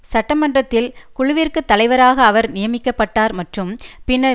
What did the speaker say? சட்டமன்றத்தில் குழுவிற்கு தலைவராக அவர் நியமிக்க பட்டார் மற்றும் பின்னர்